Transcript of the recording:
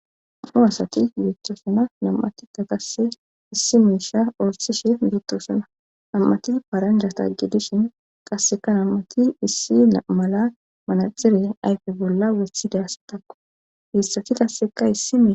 Nu asati beettoosana nam7atita qasse issi miisha orsishi beettoosana nam7ati paranjataggidishin qasseka nam7ati issi naamala manaxire ayfe bolla wessidaassatakku heessati qasseka issi mei